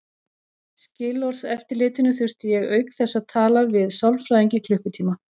Skilorðseftirlitinu þurfti ég auk þess að tala við sálfræðing í klukkutíma.